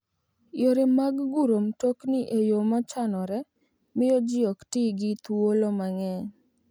Yore mag guro mtokni e yo mochanore miyo ji ok ti gi thuolo mang'eny.